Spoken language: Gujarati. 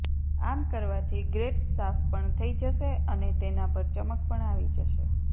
આમ કરવાથી ગ્રેટસ સાફ પણ થઇ જશે અને તેના પર ચમક પણ આવી જશે